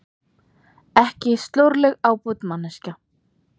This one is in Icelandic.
Ekki slorleg ábót manneskja!